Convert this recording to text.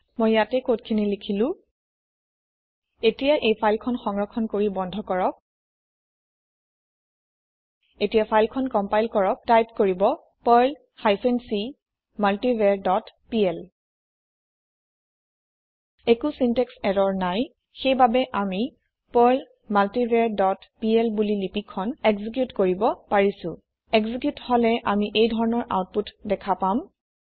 মই ইয়াতে কদ খিনি লিখিলো এতিয়া এই ফাইল খন সংৰক্ষণ কৰি বন্ধ কৰক এতিয়া ফাইল খন কম্পাইল কৰক টাইপ কৰিব Perl hyphen c multivar dot pl একো চিনটেক্স ইৰৰ নাই সেইবাবে আমি পাৰ্ল মাল্টিভাৰ ডট plবুলি লিপি খন একজিকিউট কৰিব পাৰিছো একজিকিউট হলে আমি এইধৰণৰ আওতপুত দেখা পাম